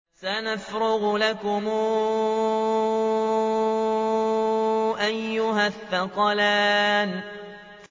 سَنَفْرُغُ لَكُمْ أَيُّهَ الثَّقَلَانِ